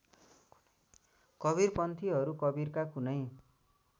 कवीरपन्थीहरू कवीरका कुनै